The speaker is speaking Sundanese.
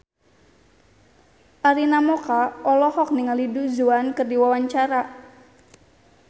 Arina Mocca olohok ningali Du Juan keur diwawancara